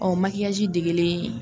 makiyaji degelen